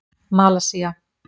Malasía